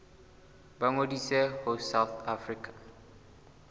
ba ngodise ho south african